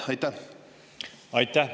Aitäh!